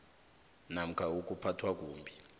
namkha ukuphathwa kumbi